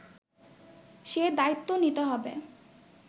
সে দায়িত্ব নিতে হবে